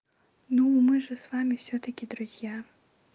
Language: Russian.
ну мы же с вами всё-таки друзья